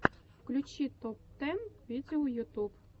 включи топ тэн видео ютюб